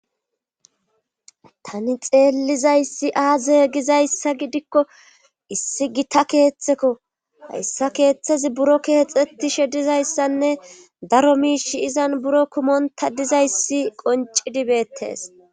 Tani xelizaysi aze gizaysa gidiko issi gitta ketheko haysi kethazi buro kexetishe dizaysane daro mishiy izan buro kumonta dizayssi qoncidi betes